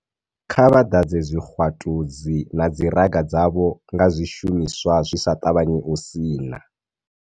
Kha vha ḓadze zwixwatu dzi na dziraga dzavho nga zwi shumiswa zwi sa ṱavhanyi u sina.